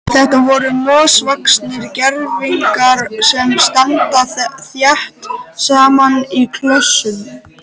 Þetta eru mosavaxnir gervigígar sem standa þétt saman í klösum.